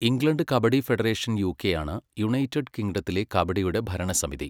England kabaddi federation യുകെയാണ് United കിംഗ്ടത്തിലെ കബഡിയുടെ ഭരണസമിതി.